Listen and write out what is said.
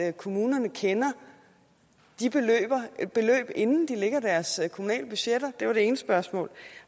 at kommunerne kender de beløb inden de lægger deres kommunale budgetter det var det ene spørgsmål